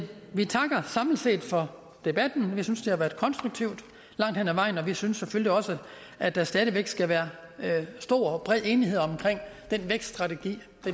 vi takker samlet set for debatten vi synes det har været konstruktivt langt hen ad vejen og vi synes selvfølgelig også at der stadig væk skal være stor og bred enighed omkring den vækststrategi